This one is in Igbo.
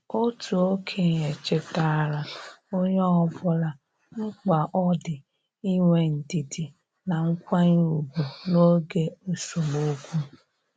Otu okenye chetaara onye ọbụla mkpa ọ dị inwe ndidi na nkwanye ùgwù n' oge esemokwu.